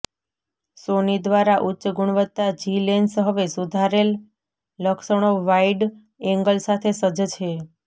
સોની દ્વારા ઉચ્ચ ગુણવત્તા જી લેન્સ હવે સુધારેલ લક્ષણો વાઇડ એંગલ સાથે સજ્જ છે